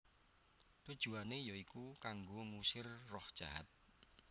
Tujuané ya iku kanggo ngusir roh jahat